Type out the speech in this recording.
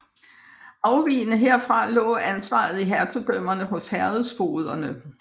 Afvigende herfra lå ansvaret i Hertugdømmerne hos herredsfogederne